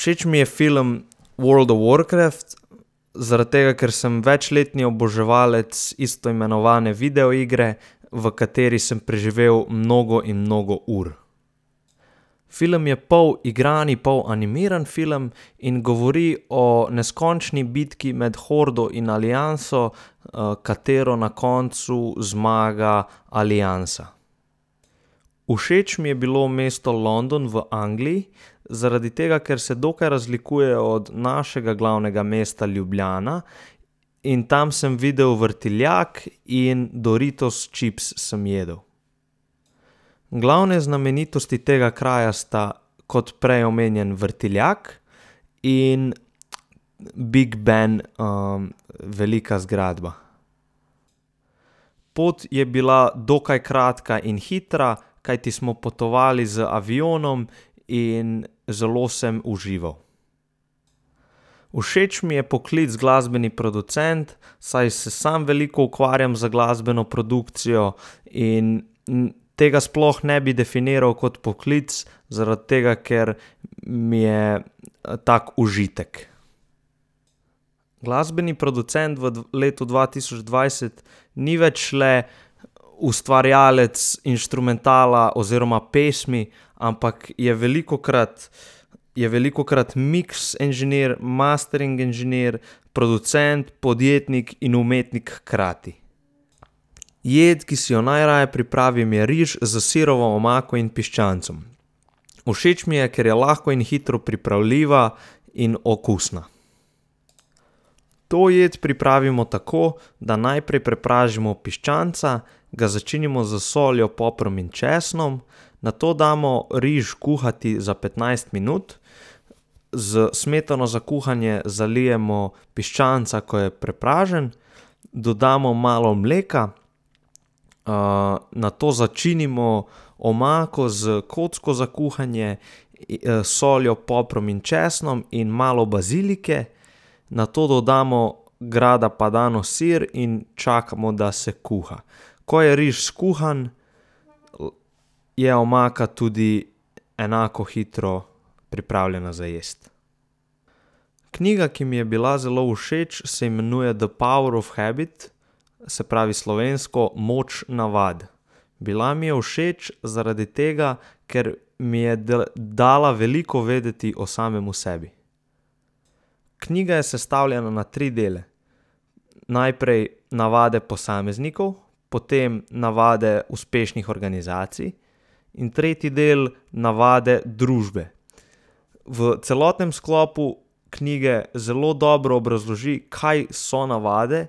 Všeč mi je film World of Warcraft, zaradi tega, ker sem večletni oboževalec isto imenovane videoigre, v kateri sem preživel mnogo in mnogo ur. Film je pol igrani pol animirani film in govori o neskončni bitki med hordo in alianso, katero na koncu zmaga aliansa. Všeč mi je bilo mesto London v Angliji, zaradi tega, ker se dokaj razlikuje od našega glavnega mesta Ljubljana, in tam sem videl vrtiljak in Doritos čips sem jedel. Glavne znamenitosti tega kraja sta kot prej omenjen vrtiljak in Big ben, velika zgradba. Pot je bila dokaj kratka in hitra, kajti smo potovali z avionom in zelo sem užival. Všeč mi je poklic glasbeni producent, saj se sam veliko ukvarjam z glasbeno produkcijo in tega sploh ne bi definirali kot poklic, zaradi tega, ker mi je, tak užitek. Glasbeni producent v letu dva tisoč dvajset ni več le ustvarjalec inštrumentala oziroma pesmi, ampak je velikokrat, je velikokrat miks inženir, mastering inženir, producent, podjetnik in umetnik hkrati. Jed, ki si jo najraje pripravim, je riž s sirovo omako in piščancem. Všeč mi je, ker je lahko in hitro pripravljiva in okusna. To jed pripravimo tako, da najprej prepražimo piščanca, ga začinimo s soljo, poprom in česnom, nato damo riž kuhati za petnajst minut, s smetano za kuhanje zalijemo piščanca, ko je prepražen, dodamo malo mleka, nato začinimo omako s kocko za kuhanje, soljo, poprom in česnom in malo bazilike, nato dodamo grana padano sir in čakamo, da se kuha. Ko je riž skuhan, je omaka tudi enako hitro pripravljena za jesti. Knjiga, ki mi je bila zelo všeč, se imenuje The Power of Habit, se pravi slovensko Moč navade. Bila mi je všeč zaradi tega, ker mi je dala veliko vedeti o samem sebi. Knjiga je sestavljena na tri dele: najprej navade posameznikov, potem navade uspešnih organizacij in tretji del, navade družbe. V celotnem sklopu knjige zelo dobro obrazloži, kaj so navade,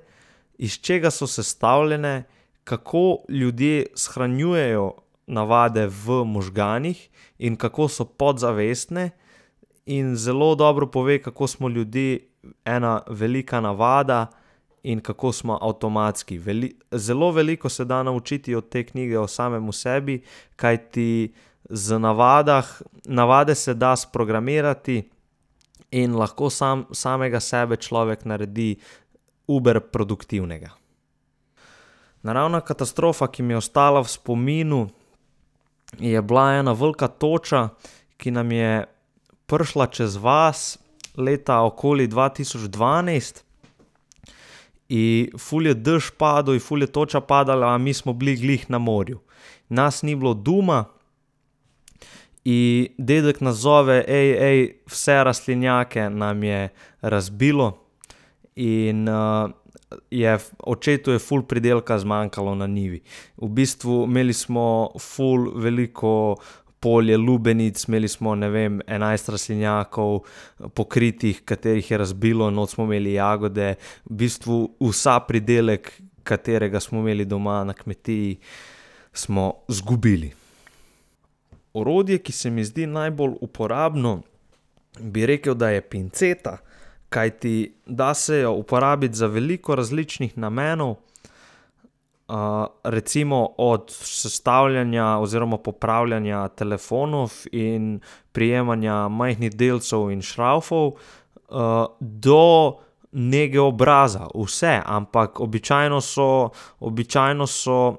iz česa so sestavljene, kako ljudje shranjujejo navade v možganih in kako so podzavestne, in zelo dobro pove, kako smo ljudje ena velika navada in kako smo avtomatski, zelo veliko se da naučiti od te knjige o samem sebi, kajti z navadah, navade se da sprogramirati in lahko samo samega sebe človek naredi uber produktivnega. Naravna katastrofa, ki mi je ostala v spominu, je bila ena velika toča, ki nam je prišla čez vas leta okoli dva tisoč dvanajst, in ful je dež padel in ful je toča padala, a mi smo bili glih na morju. Nas ni bilo doma in dedek nas zove: vse rastlinjake nam je razbilo!" In, je očetu je ful pridelka zmanjkalo na njivi, v bistvu imeli smo ful veliko polje lubenic, imeli smo, ne vem, enajst rastlinjakov, pokritih, katerih je razbilo, not smo imeli jagode, v bistvu ves pridelek, katerega smo imeli doma na kmetiji, smo izgubili. Orodje, ki se mi zdi najbolj uporabno, bi rekel, da je pinceta, kajti da se jo uporabiti za veliko različnih namenov, recimo od sestavljanja oziroma popravljanja telefonov in prijemanja majhnih delcev in šravfov, do nege obraza, vse, ampak običajno so, običajno so,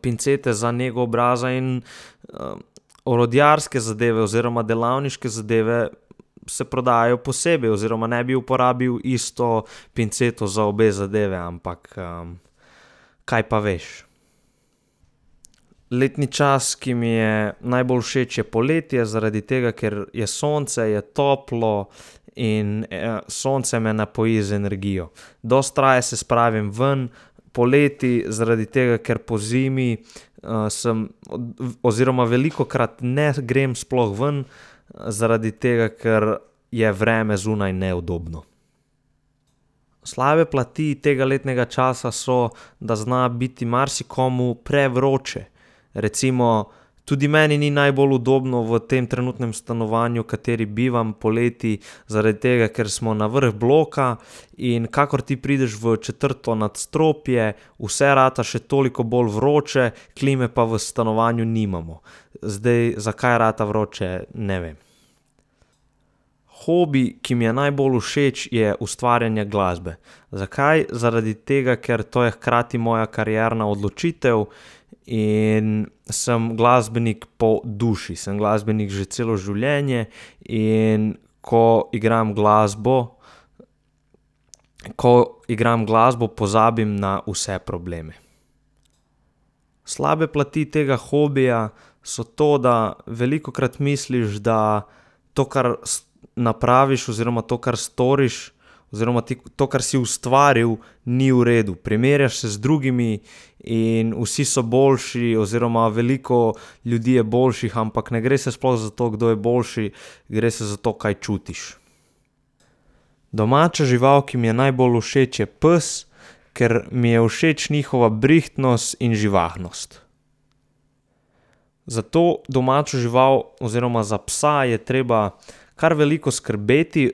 pincete za nego obraza in, orodjarske zadeve oziroma delavniške zadeve se prodajajo posebej oziroma ne bi uporabil isto pinceto za obe zadevi, ampak, kaj pa veš. Letni čas, ki mi je najbolj všeč, je poletje, zaradi tega, ker je sonce, je toplo in, sonce me napoji z energijo. Dosti raje se spravim ven poleti, zaradi tega, ker pozimi, sem oziroma velikokrat ne grem sploh ven, zaradi tega, ker je vreme zunaj neudobno. Slabe plati tega letnega časa so, da zna biti marsikomu prevroče, recimo, tudi meni ni najbolj udobno v tem trenutnem stanovanju, v kateri bivam poleti, zaradi tega, ker smo na vrh bloka, in kakor ti prideš v četrto nadstropje, vse rata še toliko bolj vroče, klime pa v stanovanju nimamo. Zdaj, zakaj rata vroče, ne vem. Hobi, ki mi je najbolj všeč, je ustvarjanje glasbe. Zakaj? Zaradi tega, ker to je hkrati moja karierna odločitev in sem glasbenik po duši, sem glasbenik že celo življenje, in ko igram glasbo, ko igram glasbo, pozabim na vse probleme. Slabe plati tega hobija so to, da velikokrat misliš, da to, kar napraviš, oziroma to, kar storiš, oziroma to, kar si ustvaril, ni v redu, primerjaš se z drugimi in vsi so boljši oziroma veliko ljudi je boljših, ampak ne gre se sploh za to, kdo je boljši, gre se za to, kaj čutiš. Domača žival, ki mi je najbolj všeč, je pes, ker mi je všeč njihova brihtnost in živahnost. Za to domačo žival oziroma za psa je treba kar veliko skrbeti,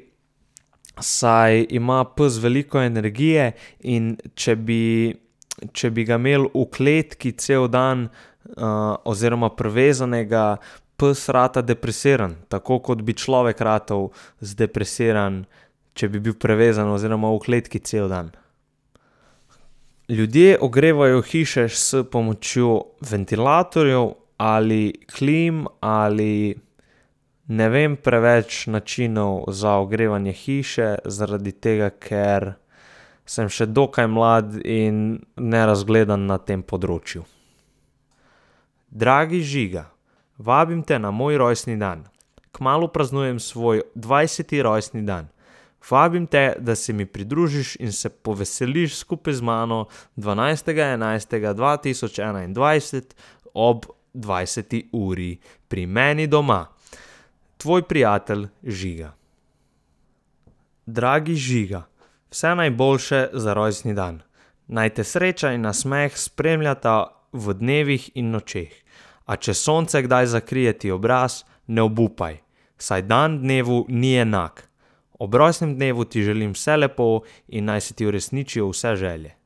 saj ima pes veliko energije, in če bi, če bi ga imeli v kletki cel dan, oziroma privezanega, pes rata depresiran, tako kot bi človek ratal zdepresiran, če bi bil prevezan oziroma v kletki cel dan. Ljudje ogrevajo hiše s pomočjo ventilatorjev ali klim ali ... Ne vem preveč načinov za ogrevanje hiše, zaradi tega, ker sem še dokaj mlad in nerazgledan na tem področju. Dragi Žiga, vabim te na moj rojstni dan. Kmalu praznujem svoj dvajseti rojstni dan. Vabim te, da se mi pridružiš in se poveseliš skupaj z mano dvanajstega enajstega dva tisoč enaindvajset ob dvajseti uri pri meni doma. Tvoj prijatelj Žiga. Dragi Žiga, vse najboljše za rojstni dan. Naj te sreča in nasmeh spremljata v dnevih in nočeh. A če sonce kdaj zakrije ti obraz, ne obupaj, saj dan dnevu ni enak. Ob rojstnem dnevu ti želim vse lepo in naj se ti uresničijo vse želje.